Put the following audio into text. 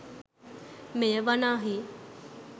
මෙය වනාහි